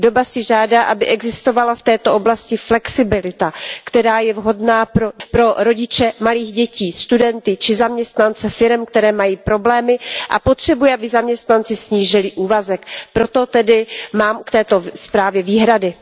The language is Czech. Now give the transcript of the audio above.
Doba si žádá, aby existovala v této oblasti flexibilita, která je vhodná pro rodiče malých dětí, studenty či zaměstnance firem, které mají problémy a potřebují, aby zaměstnanci snížili úvazek. Proto tedy mám k této zprávě výhrady.